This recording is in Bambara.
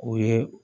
O ye